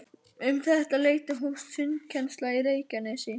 Um þetta leyti hófst sundkennsla í Reykjanesi við